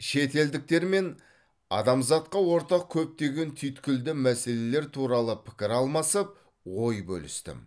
шетелдіктермен адамзатқа ортақ көптеген түйткілді мәселелер туралы пікір алмасып ой бөлістім